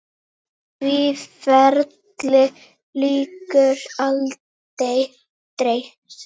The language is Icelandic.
Því ferli lýkur aldrei.